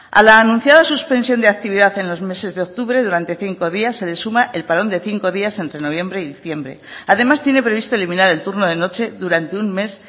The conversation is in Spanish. a la anunciada suspensión de actividad en los meses de octubre durante cinco días se le suma el parón de cinco días entre noviembre y diciembre además tiene previsto eliminar el turno de noche durante un mes